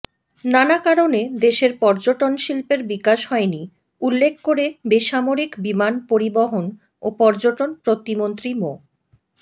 নানা কারণে দেশের পর্যটনশিল্পের বিকাশ হয়নি উল্লেখ করে বেসামরিক বিমান পরিবহন ও পর্যটন প্রতিমন্ত্রী মো